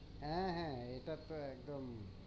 হ্যাঁ হ্যাঁ এটা তো একদম